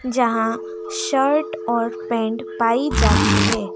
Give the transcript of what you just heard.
जहां शर्ट और पेंट पाई जाती है।